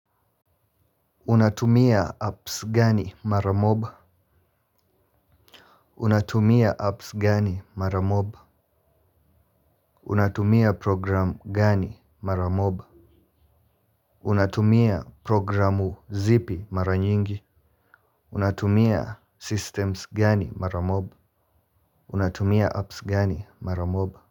Unatumia apps gani mara moba? Unatumia apps gani mara moba? Unatumia programu gani mara moba? Unatumia programu zipi mara nyingi? Unatumia systems gani mara moba? Unatumia apps gani mara moba?